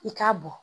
I k'a bɔ